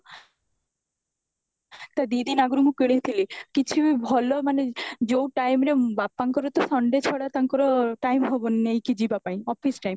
ତା ଦି ଦିନ ଆଗରୁ ମୁଁ କାଣିଥିଲି କିଛି ବି ଭଲ ମାନେ ଯୋଉ time ରେ ବାପାଙ୍କର ତ sunday ଛଡା ତାଙ୍କର ର୍ଟମେ ହବନି ନେଇକି ଯିବାପାଇଁ office time